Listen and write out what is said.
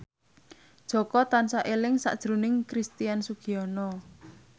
Jaka tansah eling sakjroning Christian Sugiono